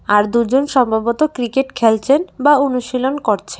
আর দুজন সম্ভবত ক্রিকেট খেলছেন বা অনুশীলন করছে--